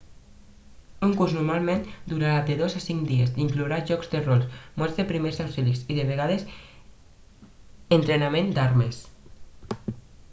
un curs normalment durarà de 2 a 5 dies i inclourà jocs de rol molts de primers auxilis i de vegades entrenament d'armes